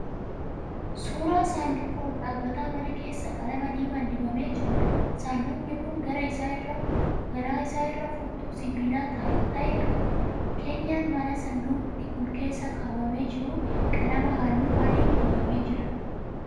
Suura saanduqa ol dhaabbataa manaa keessaa qalama diimaan dibamee jiruudha. Saanduqni kun garaa isaa irraa furtuu sibiila ta'e qaba. Keenyan mana saanduqni kun keessaa kaawwamee jiruu qalama hallu adiin dibamee jira.